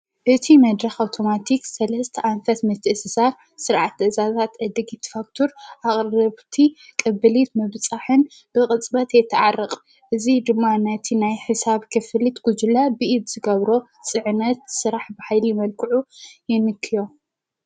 ኽኸእቲ ኣውቶማቲ ሠለስተ ኣንፈስ ምትእስሳ ሠዓት ኣዛባት ዕድጊ ትፋክቱር ኣቕረብቲ ቅብሊት መብጻሕን ብቕጽበት የተዓርቕ እዙ ድማነቲ ናይ ሕሳብ ክፍሊት ጕጅለ ብኢድ ዝገብሮ ጽዕነት ሥራሕ ብሂሊ መልክዑ ይንክእዮም።